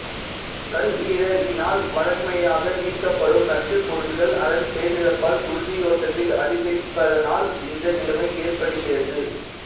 கல்லீரலினால் வழமையாக நீக்கப்படும் நச்சுப்பொருட்கள் அதன் செயலிழப்பால் குருதியோட்டத்தில் அதிகரிப்பதனால் இந்த நிலைமை ஏற்படுகிறது